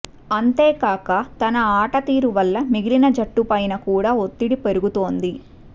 అంతేకాక తన ఆట తీరు వల్ల మిగిలిన జట్టుపైన కూడా ఒత్తిడి పెరుగుతోంది